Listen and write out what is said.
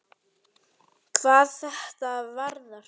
hvað þetta varðar.